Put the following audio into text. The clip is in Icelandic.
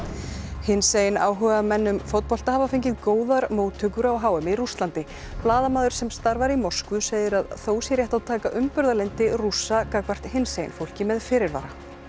hinsegin áhugamenn um fótbolta hafa fengið góðar móttökur á h m í Rússlandi blaðamaður sem starfar í Moskvu segir að þó sé rétt að taka umburðarlyndi Rússa gagnvart hinsegin fólki með fyrirvara